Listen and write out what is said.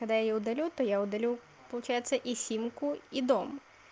когда я удалю то я удалю получается и симку и дом